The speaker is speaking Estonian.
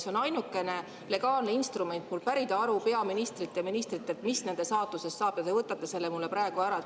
See on ainukene legaalne instrument pärida aru peaministrilt ja ministritelt, mis nende saatusest saab, ja te võtate selle minult praegu ära.